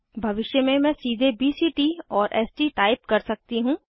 भविष्य में मैं सीधे बीसीटी और एसटी टाइप कर सकती हूँ